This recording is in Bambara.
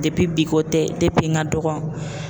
bi ko tɛ n ka dɔgɔ.